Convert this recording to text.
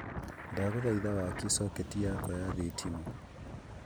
ndaguthaitha wakie soketi yakwa ya thitima